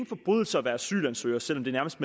forbrydelse at være asylansøger selv om det nærmest